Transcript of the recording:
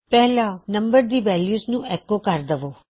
ਪਹਿਲਾ ਨੰਬਰ ਦੀ ਵੈਲਯੂ ਨੂੰ ਐਕੋ ਕਰ ਦਵੋ